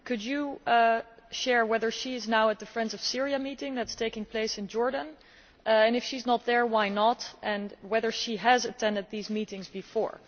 Mr Commissioner, could you tell us whether she is now at the Friends of Syria meeting that is taking place in Jordan and, if she is not there, why not, and whether she has attended these meetings before?